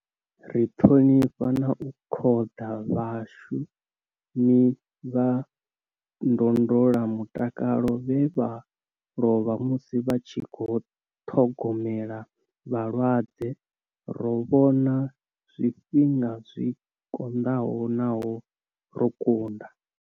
Ri ṱhonifha na u khoḓa vhashumi vha ndondola mutakalo vhe vha lovha musi vha tshi khou ṱhogomela vhalwadze. Ro vhona zwifhinga zwi konḓaho naho ro kunda.